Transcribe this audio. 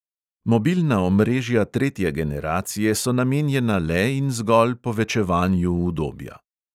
Mobilna omrežja tretje generacije so namenjena le in zgolj povečevanju udobja.